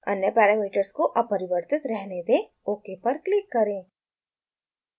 अन्य पैरामीटर्स को अपरिवर्तित रहने दें ok पर क्लिक करें